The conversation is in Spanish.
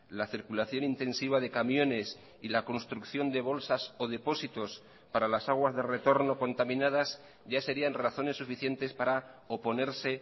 la circulación intensiva de camiones y la construcción de bolsas o depósitos para las aguas de retorno contaminadas ya serían razones suficientes para oponerse